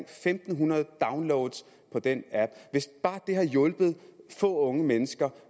fem hundrede downloads af den app hvis det bare har hjulpet få unge mennesker